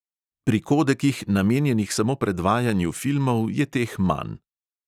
Pri kodekih, namenjenih samo predvajanju filmov, je teh manj.